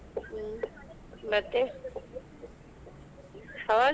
ಹ್ಮ್ ಮತ್ತೆ .